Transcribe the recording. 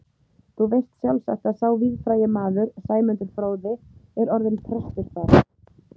Þú veist sjálfsagt að sá víðfrægi maður, Sæmundur fróði, er orðinn prestur þar.